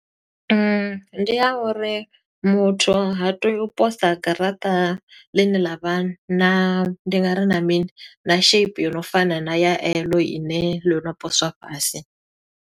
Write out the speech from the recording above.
Ndi ya uri muthu ha tei u posa garaṱa ḽine ḽa vha na, ndi nga ri na mini? Na shape yo no fana na ya e ḽo ine ḽo no poswa fhasi.